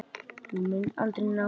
Þú munt aldrei ná þér.